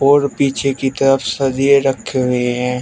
और पीछे की तरफ सरिये रखे हुए हैं।